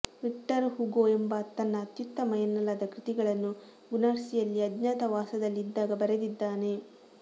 Victor ಹುಗೊಎಂಬಾತ ತನ್ನ ಅತ್ಯುತ್ತಮ ಎನ್ನಲಾದ ಕೃತಿಗಳನ್ನು ಗುರ್ನಸಿಯಲ್ಲಿ ಅಜ್ಞಾತವಾಸದಲ್ಲಿದ್ದಾಗ ಬರೆದಿದ್ದಾನೆ